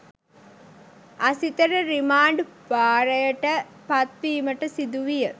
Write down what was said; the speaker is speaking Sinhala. අසිතට රිමාන්ඞ් භාරයට පත්වීමට සිදුවිය